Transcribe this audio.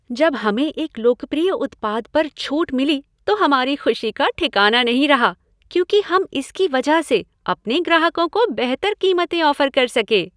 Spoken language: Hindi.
जब हमें एक लोकप्रिय उत्पाद पर छूट मिली तो हमारी खुशी का ठिकाना नहीं रहा क्योंकि हम इसकी वजह से अपने ग्राहकों को बेहतर कीमतें ऑफ़र कर सके।